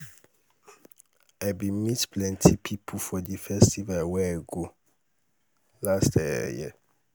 um i bin meet plenty pipo for di festival wey i go um last um year.